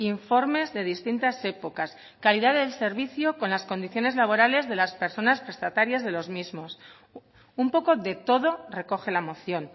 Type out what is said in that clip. informes de distintas épocas calidad de servicio con las condiciones laborales de las personas prestatarias de los mismos un poco de todo recoge la moción